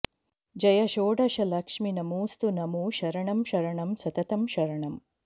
जय षोडशलक्ष्मि नमोऽस्तु नमो शरणं शरणं सततं शरणं